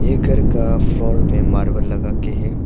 एक घर का फ्लोर पे मार्बल लगा के है।